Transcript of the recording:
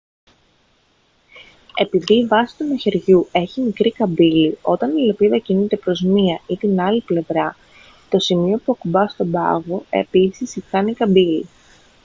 επειδή η βάση του μαχαιριού έχει μικρή καμπύλη όταν η λεπίδα κινείται προς μία ή την άλλη πλευρά το σημείο που ακουπά τον πάγο επίσης κάνει καμπύλη